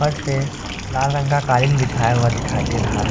लाल रंग का कालीन बिछाया हुआ दिखायी दे रहा है।